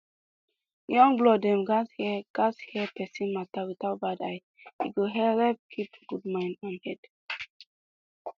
young blood dem gatz hear gatz hear persin matter without bad eye e go helep keep good mind and head